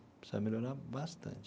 Precisa melhorar bastante.